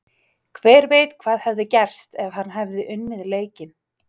Hver veit hvað hefði gerst ef hann hefði unnið leikinn?